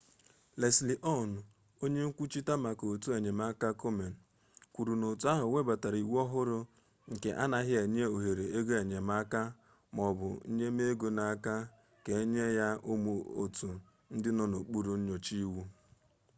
leslie aun onye nkwuchite maka otu enyemaka komen kwuru na otu ahụ webatara iwu ọhụrụ nke anaghị enye ohere ego enyemaka ma ọ bụ nnyemego ka enye ya ụmụ otu ndị nọ n'okpuru nnyocha iwu